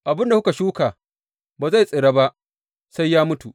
Abin da kuka shuka ba zai tsira ba sai ya mutu.